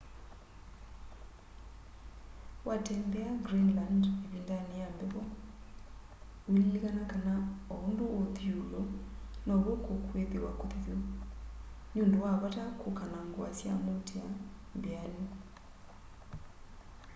watembea greenland ivindani ya mbevo uililikana kana o undu uthi iulu now'o kukwithiwa kuthithu ni undu wa vata kuka na ngua sya muutia mbianu